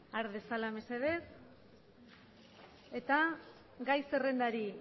har besala mesedez eta gai zerrendari